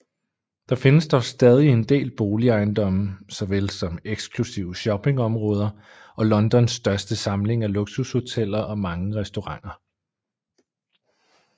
Der findes dog stadig en del boligejendomme såvel som eksklusive shoppingområder og Londons største samling af luksushoteller og mange restauranter